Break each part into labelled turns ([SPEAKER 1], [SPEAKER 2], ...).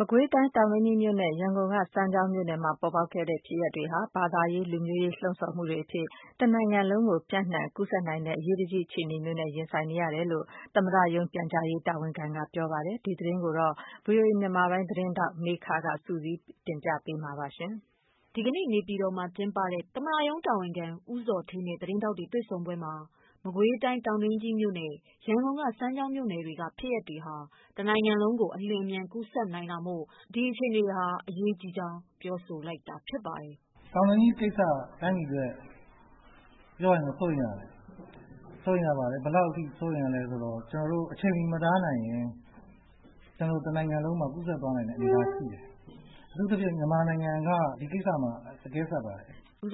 [SPEAKER 1] မကွေးတိုင်း တောင်တွင်းကြီးမြို့နဲ့ ရန်ကုန်ကစမ်းချောင်းမြို့နယ်မှာ ပေါ်ပေါက်ခဲ့တဲ့ဖြစ်ရပ်တွေဟာ ဘာသာရေးလူမျိုးရေးလှုံဆော်မှုတွေအဖြစ် တနိုင်ငံလုံးကို ပြန့်နှံကူးစက်နိုင်တဲ့ အရေးတကြီးအခြေအနေ မျိုးနဲ့ ရင်ဆိုင်နေရတယ်လို့သမ္မတရုံး ပြန်ကြားရေးတာဝန်ခံ ကပြောဆိုလိုက်ပါတယ်။ ဒီသတင်းတွေကို ဗွီအိုအေသတင်းဌာနကမေခကစုစည်းပေးသွားမှာပါ။ ဒီကနေ့နေပြည်တော်မှာကျင်းပတဲ့ သမ္မတရုံးတာဝန်ခံ ဦးဇော်ဌေးနဲ့ သတင်းထောက်တွေတွေ့ဆုံ ပွဲမှာ မကွေးတိုင်း တောင်တွင်းကြီးမြို့နဲ့ ရန်ကုန်ကစမ်းချောင်းမြို့နယ်က ဖြစ်ရပ်တွေဟာ တနိုင်ငံလုံးကို အလျင်အမြန် ကူးစက်နိုင်တာမို့ ဒီအခြေအနေဟာ အရေးကြီးကြောင်း ပြောဆို လိုက်တာပါ။
[SPEAKER 2] “တောင်တွင်းကြီးကိစ္စက တိုင်းပြည်အတွက်ပြောရရင်တော့ စိုးရိမ်ရတယ်။ ဘယ်လောက်အထိ စိုးရိမ်ရသလဲဆိုတော့ ကျနော်တို့ အချိန်မီမတားနိုင်ရင် ကျနော်တို့ တနိုင်ငံလုံးမှာ ကူးစက်နိုင်တဲ့အနေအထားရှိတယ်။ အထူးသဖြင့် မြန်မာနိုင်ငံက ဒီကိစ္စမှာ အကဲဆက်ပါတယ်။
[SPEAKER 1] ”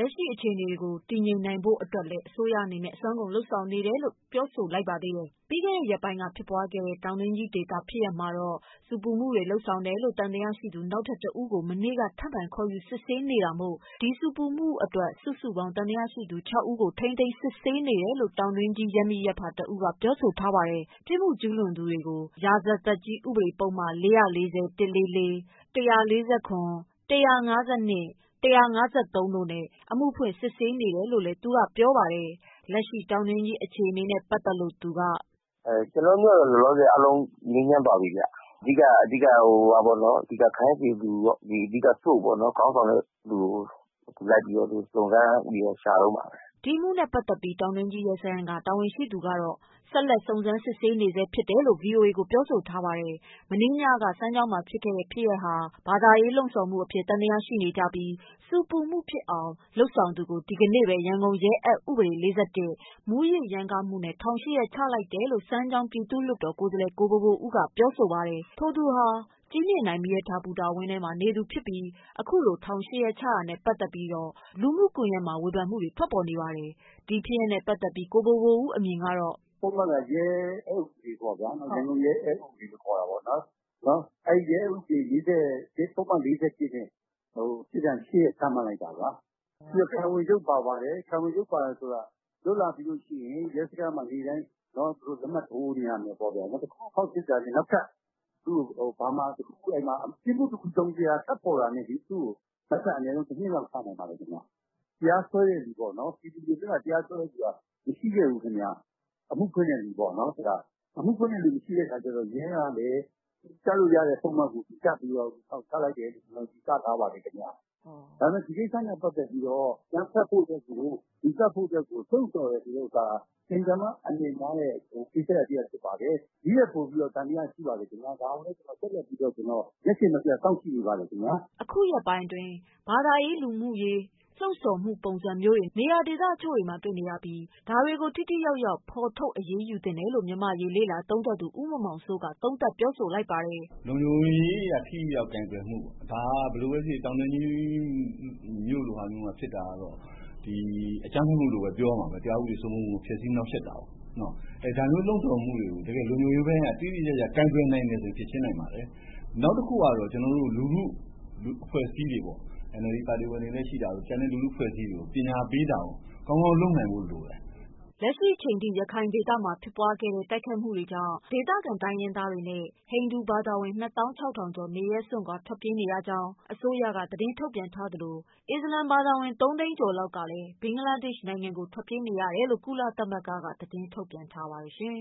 [SPEAKER 1] လက်ရှိအခြေအနေကိုတည်ငြိမ်နိုင်ဖို့လည်းလုပ်ဆောင်နေတယ်လို့ သူကပြောပါတယ်။ ပြီးခဲ့တဲ့ရက်ပိုင်းက ဖြစ်ပွားခဲ့တဲ့ တောင် တွင်းကြီး ဒေသ ဖြစ်ရပ်မှာ ဆူပူမှုလုပ်ဆောင်တယ်လို့ သံသယရှိသူ နောက်ထပ်တဦးကို မနေ့က ထပ်မံခေါ်ယူစစ်ဆေးနေတာမို့ ဒီဆူပူမှုအတွက် စုစုပေါင်း ၆ဦးကို ထိန်း သိမ်းစစ်ဆေးနေတယ်လို့ တောင်တွင်းကြီး ရပ်မိရပ်ဖတဦးကပြောဆိုပါတယ်။ ပြစ်မှုကျူးလွန်သူများကို ရာဇသတ်ကြီး ဥပဒေ ပုဒ်မ ၊ ၄၄၀ / ၁၄၄ / ၁၄၇ / ၁၅၂ / ၁၅၃ တို့နဲ့အမှုဖွင့် ထားတယ်လို့ပြောပါတယ်။ လက်ရှိ တောင်တွင်း ကြီးဒေသအခြေနဲ့ပတ်သတ်လို့ သူက
[SPEAKER 2] “ကျနော်တို့မြို့ကတော့ လောလောဆည်အားလုံးငြိမ်းချမ်းသွားပြီခင်ဗျ ၊ အဓိက ခိုင်းစေသူကိုပေါ့နော် အဓိက ခေါင်းဆောင်တဲ့သူကိုပေါ့နော် လိုက်ပြီးတော့ စုံစမ်းပြီးတော့ ရှာတုန်းပါပဲ
[SPEAKER 1] ။” ဒီအမှုနဲ့ ပတ်သက်ပြီး တောင်တွင်းကြီး ရဲစခန်း ကတာဝန်ရှိသူက စုံစမ်းစစ်ဆေး နေဆဲဖြစ်ကြောင်းဗွီအိုအေကိုပြောဆိုလာပါတယ်။ မနေ့ညက စမ်းချောင်းမှာဖြစ်ခဲ့တဲ့ ဖြစ်ရပ်ဟာ ဘာသာရေး လှုံဆော်မှုအဖြစ် သံသယရှိနေကြပြီး ဆူပူမှုဖြစ်အောင် လုပ်ဆောင်သူကို ဒီကနေ့ဘဲ ရန်ကုန်ရဲအက်ဥပဒေ ၄၁ နဲ့ထောင် ၈ရက်ချလိုက်တယ်လို့ စမ်းချောင်း ပြည်သူ့လွှတ်တော်ကိုယ်စားလှယ်ကိုဘိုဘိုဦး ကပြော ပါတယ်။ထိုသူဟာ ကြည်မြင်တိုင် မီးရထားဘူတာဝင်းထဲနေသူဖြစ်ပြီး အခုလို ထောင် ၈ရက်ချတာနဲ့ပတ်သတ်ပြီး လူမှုကွန်ယက်တွေမှာ ဝေဖန မှုတွေထွက်ပေါ်နေပါတယ်။ ဒီဖြစ်ရပ်နဲ့ပတ်သတ်ပြီး ကိုဘိုဘိုဦးအမြင်ကတော့
[SPEAKER 2] “ပုဒ်မက ရဲဥပဒေပေါ့နော်၊ ရန်ကုန်ရဲအက်ဥပဒေလို့ခေါ်တာပေါ့နော် ပုဒ်မ ၄၁ နဲ့ ပတ်သက်ပြီးတော့ ပြစ်ဒဏ် ၈ ရက်ချမှတ်လိုက်တာပါ။ ပြီးတော့ ခံဝန်ချုပ်ပါပါတယ်၊ ခံဝန်ချုပ်ပါတယ်ဆိုတာက လွတ်လာပြီးရင် ရဲစခန်းမှာ နေ့တိုင်း လက်မှတ်ထိုးနေရမယ်ပေါ့နော်။ နောက်ထပ် ပြစ်မှု တစုံတရာထွက်ပေါ်လာလို့ရှိရင်သူ့ကို နောက်ထပ်အနည်းဆုံး ၁ နှစ်လောက်ချနိုင်ပါတယ်ခင်ဗျ။ အခုက တရားစွဲတဲ့လူပေါ့နော် ပြည်သူတွေဘက်က တရားစွဲသူမရှိခဲ့ဘူးခင်ဗျ ၊ အမှုဖွင့်တဲ့လူပေါ့နော် ။ အမှုဖွင့်တဲ့လူမရှိတဲ့အခါကျတော့ ရဲကလည်း သူကပ်လို့ရတဲ့ ပုဒ်မကို သူကပ်ပြီးတော့ ထောင်ချလိုက်တယ်လို့ ယူဆထားပါတယ်ခင်ဗျ။ ဒါပေမယ့် ဒီကိစ္စနဲ့ ပတ်သက်ပြီးတော့ အကြမ်းဖက်ဖို့အတွက်ကို လှုံ့ဆော်တယ်ဆိုတာက အင်မတန်မှ အန္ဒရာယ်များတဲ့ ကိစ္စရပ်ဖြစ်ပါတယ် ဒီထက်ပိုပြီးတော့ သံသရရှိပါတယ်ခင်ဗျ ဒါကိုလည်း ကျနော်တို့ ဆက်လက်ပြီးတော့ မျက်ခြေမပျက်စောင့်ကြည့်နေပါတယ်ခင်ဗျ။”
[SPEAKER 1] အခုရက်ပိုင်းအတွင်း ဘာသာရေးလူမျိုးရေးလှုံဆော်မှုပုံစံမျိုးတွေ နေရာဒေသအချို့တွေမှာတွေ့နေရပြီး ဒါတွေကို ထိထိရောက်ရောက်ဖော်ထုတ်အရေးယူ သင့်တယ်လို့ မြန်မာ့ရေးလေ့လာသုံးသပ်သူ ဦးမောင်မောင်စိုးကသုံးသပ်ပြောဆိုလိုက်ပါတယ်။
[SPEAKER 2] “လုံခြုံရေးအရထိထိရောက်ရောက်ကိုင်တွယ်မှုပေါ့ ဒါက ဘယ်လိုပဲဖြစ်ဖြစ် တောင်တွင်းကြီးမြို့လိုဟာမျိုးမှာဖြစ်တာကတော့ အကြမ်းဖက်မှုလို့ပြောရမှာပဲ တရားဥပဒေစိုးမိုးမှုကို ဖျက်ဆီးနှောင့်ယှက်တာပေါ့။ ဒါမျိုးလုံ့ဆော်မှုတွေကို လုံခြုံရေးပိုင်းက တိတိကျကျကိုင်တွယ်နိုင်မယ်ဆိုရင် ဖြေရှင်းနိုင်ပါတယ်။ နောက်တခုကတော့ ကျနော်တို့ လူထုအဖွဲ့အစည်းတွေပေါ့နော် NLD ပါတီဝင်တွေလည်းရှိတယ်၊ ကျန်တဲ့ လူထုအဖွဲ့အစည်းတွေကို ပညာပေးတာကို ကောင်းကောင်းလုပ်နိုင်ဖို့လိုတယ်။
[SPEAKER 1] ” လက်ရှိချိန်အထိ ရခိုင်ဒေသမှာ ဖြစ်ပွားခဲ့တဲ့ တိုက်ခိုက်မှုကြောင့် ဒေသခံ တိုင်းရင်းသားနဲ့ ဟိန္ဒူဘာသာဝင် ၂သောင်း ၆ထောင်ကျော် နေရပ်စွန့်ခွာ ထွက်ပြေးနေရကြောင်း အစိုးရက သတင်းထုတ်ပြန်ထားသလို အစ္စလာမ်ဘာသာဝင် ၃သိန်းကျော်လောက် ဘင်္ဂလားဒေ့ရှ်နိုင်ငံကို ထွက်ပြေးရကြောင်း ကုလသမဂ္ဂက သတင်းထုတ်ပြန်ထားပါတယ်။